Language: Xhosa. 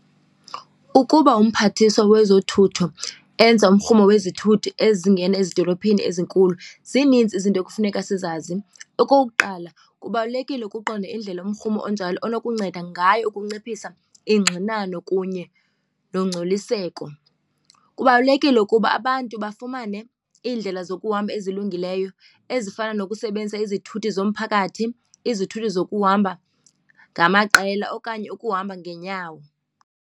Ukuba umphathiswa wezothutho enza umrhumo wezithuthi ezingena ezidolophini ezinkulu zininzi izinto ekufuneka sizazi. Okokuqala kubalulekile ukuqonda indlela yomrhumo onjalo enokunceda ngayo ukunciphisa ingxinano kunye nongcoliseko. Kubalulekile ukuba abantu bafumane iindlela zokuhamba ezilungileyo ezifana nokusebenzisa izithuthi zomphakathi, izithuthi zokuhamba ngamaqela okanye ukuhamba ngeenyawo.